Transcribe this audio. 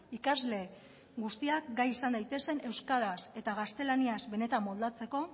ikasle guztiak gai izan daitezen euskaraz eta gaztelaniaz benetan moldatzeko